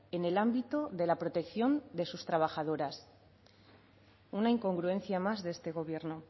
en el ámbito de la protección de sus trabajadoras una incongruencia más de este gobierno